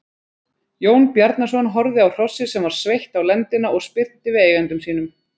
Jón Bjarnason horfði á hrossið sem var sveitt á lendina og spyrnti við eigendum sínum.